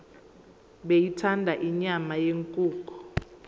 beyithanda inyama yenkukhu